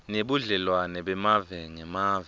nebudlelwane bemave ngemave